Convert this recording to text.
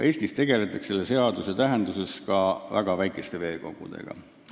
Eestis tegeldakse selle seaduse tähenduses ka väga väikeste veekogudega.